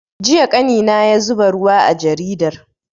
Jiya ƙanina ya zuba ruwa a jaridar